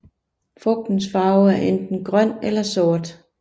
Frugtens farve er enten grøn eller sort